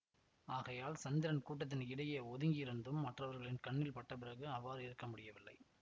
ஆகையால் சந்திரன் கூட்டத்தின் இடையே ஒதுங்கியிருந்தும் மற்றவர்களின் கண்ணில் பட்டபிறகு அவ்வாறு இருக்க முடியவில்லை